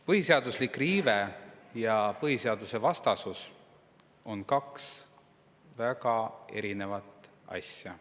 Põhiseaduslik riive ja põhiseadusvastasus on kaks väga erinevat asja.